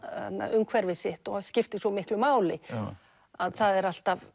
umhverfi sitt og skiptir svo miklu máli að það er alltaf